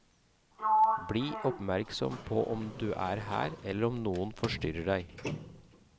Bli oppmerksom på om du er her, eller om noe forstyrrer deg.